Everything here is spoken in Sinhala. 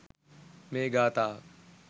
මේ ගාථාව